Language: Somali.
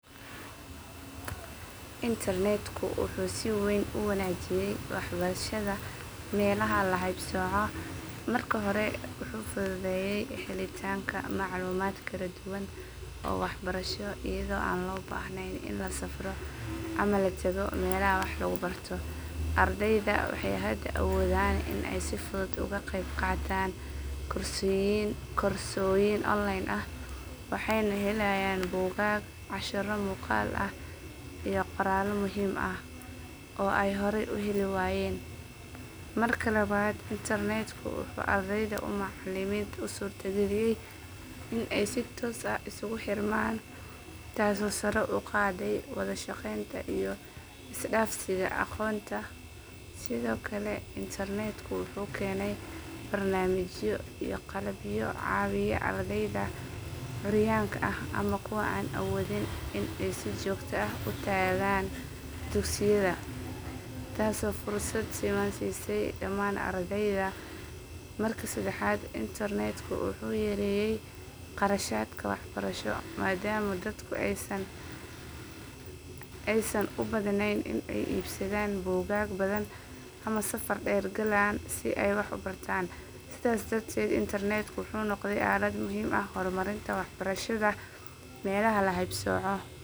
Internetku wuxuu si weyn u wanaajiyay waxbarashada meelaha la haybsoco. Marka hore wuxuu fududeeyay helitaanka macluumaad kala duwan oo waxbarasho iyadoo aan loo baahnayn in la safro ama la tago meelaha wax lagu barto. Ardayda waxay hadda awoodaan in ay si fudud uga qeyb qaataan koorsooyin online ah, waxayna helayaan buugaag, casharro muuqaal ah, iyo qoraallo muhiim ah oo ay horay u heli waayeen. Marka labaad, internetku wuxuu ardayda iyo macallimiinta u suurtageliyay in ay si toos ah isugu xirmaan, taasoo sare u qaaday wada shaqeynta iyo is dhaafsiga aqoonta. Sidoo kale, internetku wuxuu keenay barnaamijyo iyo qalabyo caawiya ardayda curyaanka ah ama kuwa aan awoodin in ay si joogto ah u tagaan dugsiyada, taasoo fursad siman siisay dhammaan ardayda. Marka saddexaad, internetku wuxuu yareeyay kharashaadka waxbarasho maadaama dadku aysan u baahnayn in ay iibsadaan buugaag badan ama safar dheer galaan si ay wax u bartaan. Sidaas darteed, internetku wuxuu noqday aalad muhiim u ah horumarinta waxbarashada meelaha la haybsoco.